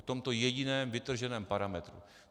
O tomto jediném vytrženém parametru.